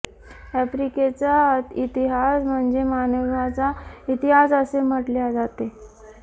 आफ्रिकेचा इतिहास म्हणजे मानवाचा इतिहास असे म्हटले जाते